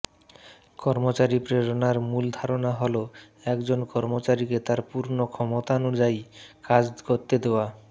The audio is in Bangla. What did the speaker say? কমচারী প্রেরণার মূল ধারণা হলো একজন কর্মচারীকে তার পূর্ণ ক্ষমতানুযায়ী কাজ করতে দেওয়া